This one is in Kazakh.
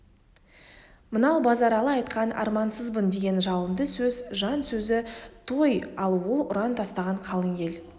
мынау базаралы айтқан армансызбын деген жалынды сөз жан сөзі той ал ол ұран тастаған қалың ел